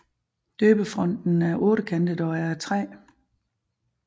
Døbefonten er ottekantet og er af træ